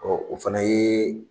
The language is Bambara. o fana yee